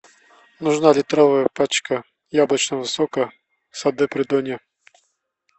нужна литровая пачка яблочного сока сады придонья